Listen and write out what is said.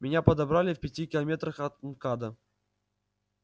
меня подобрали в пяти километрах от мкада